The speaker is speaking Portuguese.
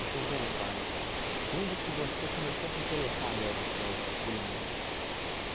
Deixa eu voltar então, quando que você começou a se interessar mesmo por culinária?